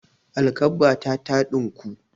Alkabbata ta ɗinku.